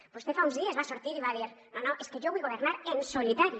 vostè fa uns dies va sortir i va dir no no és que jo vull governar en solitari